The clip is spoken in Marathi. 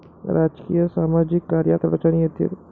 राजकीय, सामाजिक कार्यात अडचणी येतील.